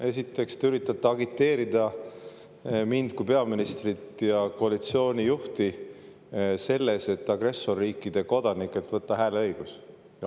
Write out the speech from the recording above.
Esiteks te üritate agiteerida mind kui peaministrit ja koalitsiooni juhti agressorriikide kodanikelt hääleõigust võtma.